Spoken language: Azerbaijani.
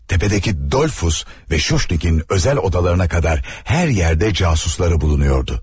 Təpədəki Dolfus və Şuşniqin özəl odalarına qədər hər yerdə casusları bulunuyordu.